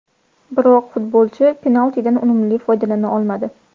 Biroq futbolchi penaltidan unumli foydalana olmadi.